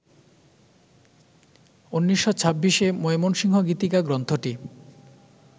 ১৯২৬-এ মৈমনসিংহ গীতিকা গ্রন্থটি